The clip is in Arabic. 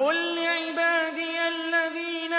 قُل لِّعِبَادِيَ الَّذِينَ